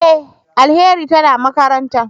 E! Alheri tana makaranta.